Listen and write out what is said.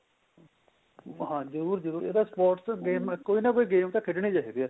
ਹਾਂ ਜਰੂਰ ਜਰੂਰ ਇਹ ਤਾਂ sports ਕੋਈ ਨਾ ਕੋਈ game ਤਾਂ ਖੇਡਣੀ ਚਾਹੀਦੀ ਏ